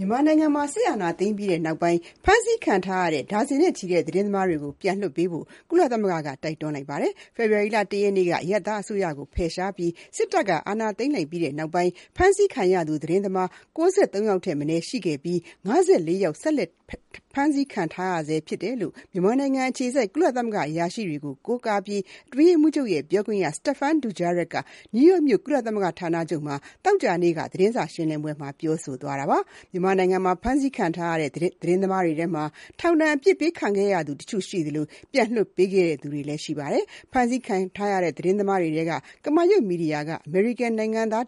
မြန်မာနိုင်ငံမှာ စစ်အာဏာသိမ်းပြီးနောက်ပိုင်း ဖမ်းဆီးခံထားရတဲ့ ဒါဇင်နဲ့ချီတဲ့ သတင်းသမားတွေကို ပြန်လွှတ်ပေးဖို့ ကုလသမဂ္ဂက တိုက်တွန်းလိုက်ပါတယ်။ ဖေဖော်ဝါရီလ ၁ ရက်နေ့က အရပ်သားအစိုးရကို ဖယ်ရှားပြီး စစ်တပ်က အာဏာသိမ်းလိုက်ပြီးနောက်ပိုင်း ဖမ်းဆီးခံရသူ သတင်းသမား ၉၃ ယောက်ထက်မနည်း ရှိခဲ့ပြီး ၅၄ ယောက် ဆက်လက် ဖမ်းဆီးခံထားရဆဲ ဖြစ်ကြောင်း မြန်မာနိုင်ငံအခြေစိုက် ကုလသမဂ္ဂ အရာရှိတွေကို ကိုးကားပြီး အတွင်းရေးမှူးချုပ်ရဲ့ ပြောခွင့်ရ Stéphane Dujarric က နယူးယောက်မြို့ ကုလသမဂ္ဂရုံးချုပ်က သောကြာနေ့ သတင်းစာ ရှင်းလင်းပွဲမှာ ပြောဆိုလိုက်တာပါ။ မြန်မာနိုင်ငံမှာ ဖမ်းဆီးခံထားရတဲ့ သတင်းသမားတွေထဲမှာ ထောင်ဒဏ်အပြစ်ပေး ခံခဲ့ရသူတချို့ ရှိသလို၊ ပြန်လွှတ်ပေးခဲ့သူတွေလည်း ရှိပါတယ်။ ဖမ်းဆီးခံရတဲ့ သတင်းသမားတွေထဲက ကမာရွတ်မီဒီယာက အမေရိကန် နိုင်ငံသား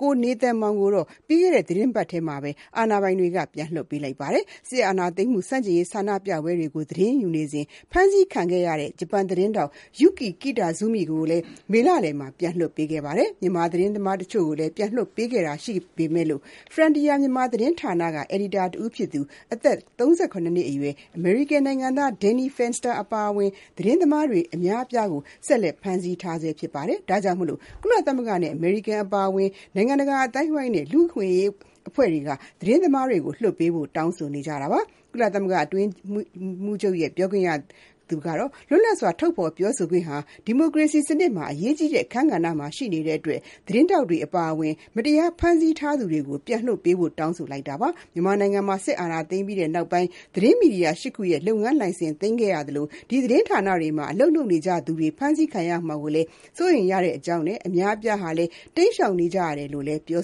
ကိုနေသန်မောင် ကိုတော့ ပြီးခဲ့တဲ့ သီတင်းပတ်ထဲမှာပဲ အာဏာပိုင်တွေ ပြန်လွှတ်ပေးခဲ့ပြီး၊ စစ်အာဏာသိမ်းမှု ဆန့်ကျင်ရေး ဆန္ဒပြပွဲတွေကို သတင်းယူနေစဉ် ဖမ်းဆီးခံခဲ့ရတဲ့ ဂျပန်သတင်းထောက် Yuki Kitazumi ဟာလည်း မေလလယ်မှာပဲ ပြန်လွတ်လာခဲ့တာပါ။ မြန်မာသတင်းသမား တချို့ကိုလည်း ပြန်လွှတ်ပေးခဲ့တာ ရှိပေမဲ့ Frontier Myanmar သတင်းဌာနက အယ်ဒီတာတဦးဖြစ်သူ အသက် ၃၇ နှစ်အရွယ် အမေရိကန်နိုင်ငံသား Danny Fenster အပါအဝင် သတင်းသမား အများအပြားကို ဆက်လက် ဖမ်းဆီးခံထားဆဲ ဖြစ်တဲ့အတွက် ကုလသမဂ္ဂနဲ့ အမေရိကန် အပါအဝင် နိုင်ငံတကာ အသိုင်းအဝန်းနဲ့ လူ့အခွင့်အရေး အဖွဲ့တွေက တောင်းဆိုနေကြပါတယ်။ ကုလသမဂ္ဂ အတွင်းရေးမှူးချုပ်ရဲ့ ပြောခွင့်ရကတော့ လွတ်လပ်စွာ ထုတ်ဖော်ပြောဆိုခွင့်ဟာ ဒီမိုကရေစီ စနစ်မှာ အရေးကြီးတဲ့ အခန်းကဏ္ဍမှာ ရှိနေတဲ့အတွက် သတင်းထောက်တွေ အပါအဝင် မတရား ဖမ်းဆီးထားသူတွေကို ပြန်လွှတ်ပေးဖို့လည်း တောင်းဆိုခဲ့တာပါ။ မြန်မာနိုင်ငံမှာ စစ်အာဏာသိမ်းပြီးနောက်ပိုင်း သတင်းမီဒီယာ ၈ ခုရဲ့ လုပ်ငန်းလိုင်စင် သိမ်းခံခဲ့ရသလို၊ ဒီသတင်းဌာနတွေမှာ အလုပ်လုပ်နေကြသူတွေ ဖမ်းဆီးခံရမှာကို စိုးရိမ်ရကြောင်းနဲ့ အများအပြားဟာလည်း တိမ်းရှောင်နေကြရတယ်လို့လည်း ပြော